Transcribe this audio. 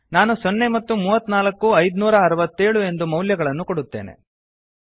ನಾನು ಸೊನ್ನೆ ಮತ್ತು ಮೂವತ್ನಾಲ್ಕು ಐದುನೂರಾಅರವತ್ತೇಳು ಎಂದು ಮೌಲ್ಯಗಳನ್ನು ಕೊಡುತ್ತೇನೆ